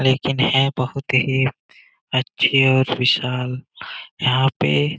लेकिन है बहुत ही अच्छी और विशाल यहां पे --